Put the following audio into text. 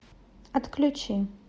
отключи